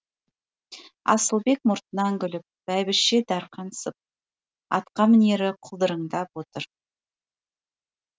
асылбек мұртынан күліп бәйбіше дарқансып атқамінері құлдыраңдап отыр